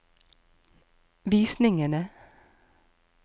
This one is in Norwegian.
visningene